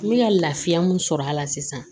N bɛ ka lafiya mun sɔrɔ a la sisan